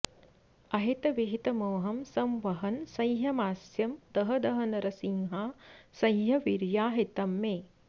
अहित विहित मोहं संवहन् सैंहमास्यम् दह दह नरसिंहासह्यवीर्याहितंमे